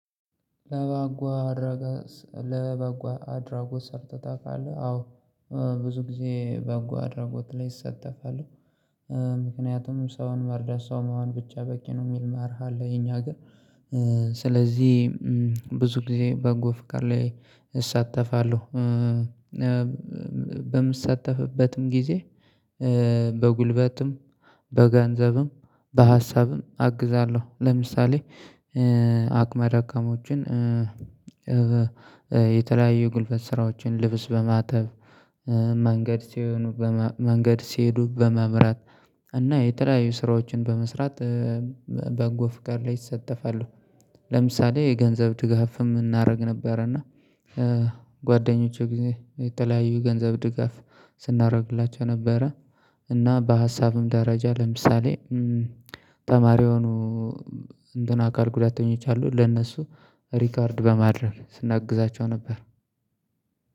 ለበጎ አድራገስ ለበጎ አድራጎት ሰርተህ ታውቃለህ አዎ ብዙ ጊዜ በጎ አድርጎት ላይ እሳተፋለሁ። ምክንያቱም ሰውን መርዳት ሰውን መሆን ብቻ በቂ ነው የሚል መርህ አለ። የኛ አገር ስለዚህ ብዙ ጊዜ በጎ ፍቃድ ላይ እሳተፋለሁ። በምሳተፍበትም ጊዜ በጉልበትም በገንዘብም በሀሳብም አግዛለሁ ለምሳሌ አቅመደካሞችን የተለያዩ ጉልበት ስራዎችን ልብስ በማጠብ መንገድ ሲሆኑ መንገድ ሲሄዱ በመምራት እና የተለያዩ ስራዎችን በመስራት በጎ ፈቃድ ላይ እሳተፋለሁ። ለምሳሌ የገንዘብ ድጋፍም እናደርግ ነበር እና ጓደኞቼ ጊዜ የተለያዩ ገንዘብ ድጋፍ ስናደርግላቸው ነበረ። እና በሀሳብም ደረጃ ለምሳሌ ተማሪ የሆኑ እንትን አካል ጉዳተኞች አሉ ለእነሱ ሪከርድ በማድረግ ስናግዛቸው ነበር።